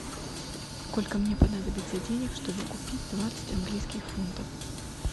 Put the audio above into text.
сколько мне понадобится денег чтобы купить двадцать английских фунтов